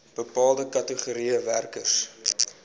bepaalde kategorieë werkers